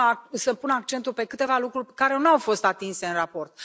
Vreau să pun accentul pe câteva lucruri care nu au fost atinse în raport.